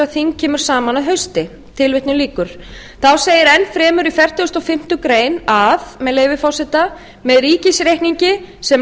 að þing kemur saman að hausti þá segir ennfremur í fertugustu og fimmtu grein að með leyfi forseta með ríkisreikningi sem